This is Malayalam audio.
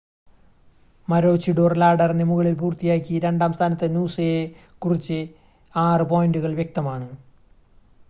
മാരോചിഡോർ ലാഡറിന് മുകളിൽ പൂർത്തിയാക്കി രണ്ടാം സ്ഥാനത്ത് നൂസയെക്കുറിച്ച് 6 പോയിൻ്റുകൾ വ്യക്തമാണ്